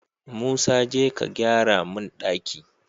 Musa jeka ka gyara mun ɗaki